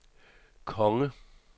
konge